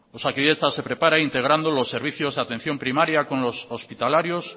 osakidetza se prepara integrando los servicios de atención primaria con los hospitalarios